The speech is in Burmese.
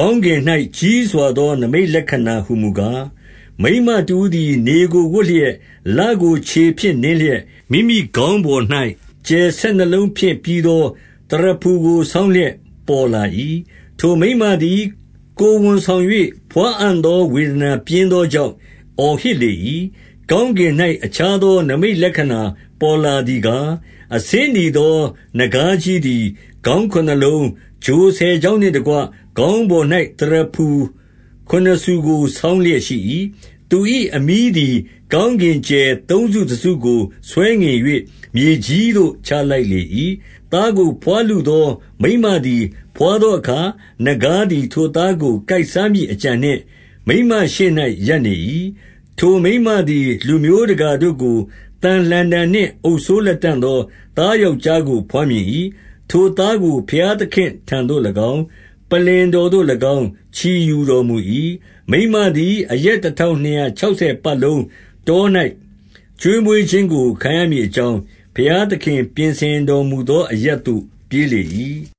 ကောင်းကင်၌ ကြီးစွာသော နိမိတ်လက္ခဏာ ဟူမူကား၊ မိန်းမတဦးသည် နေကိုဝတ်လျက်၊ လကို ခြေဖြင့်နင်းလျက်၊ မိမိခေါင်းပေါ်၌ ကြယ်ဆယ်နှစ်လုံးဖြင့်ပြီးသော သရဖူကို ဆောင်းလျက်ပေါ်လာ၏။ 2 ထိုမိန်းမသည် ကိုယ်ဝန်ဆောင်၍ ဘွားအံ့သော ဝေဒနာပြင်းသောကြောင့် အော်ဟစ်လေ၏။ 3 ကောင်းကင်၌ အခြားသော နိမိတ်လက္ခဏာပေါ်လာသည်ကား၊ အဆင်းနီသော နဂါးကြီးသည် ခေါင်း ခုနစ်လုံး၊ ချိုဆယ်ချောင်းနှင့်တကွ ခေါင်းပေါ်၌ သရဖူ ခုနစ်ဆူကို ဆောင်းလျက်ရှိ၏။ 4 သူ၏အမြီးသည် ကောင်းကင်ကြယ်သုံးစုတစုကို ဆွဲငင်၍ မြေကြီးသို့ချလိုက်လေ၏။ သားကိုဘွားလုသော မိန်းမသည် ဘွားသောအခါ၊ နဂါးသည် ထိုသားကို ကိုက်စားမည့်အကြံနှင့် မိန်းမရှေ့၌ရပ်နေ၏။ 5 ထိုမိန်းမသည် လူမျိုးတကာတို့ကို သံလှံတံနှင့် အုပ်စိုးလတံ့သော သားယောက်ျားကို ဘွားမြင်၏။ ထိုသားကို ဘုရားသခင်ထံသို့၎င်း ၊ ပလ္လင်တော်သို့၎င်း ချီယူတော်မူ၏။ 6 မိန်းမသည် အရက်တထောင်နှစ်ရာခြောက် ဆယ်ပတ်လုံး တော၌ ကျွေးမွေးခြင်းကို ခံရမည်အ ကြောင်း ဘုရားသခင် ပြင်ဆင်တော်မူသော အရပ်သို့ ပြေးလေ၏။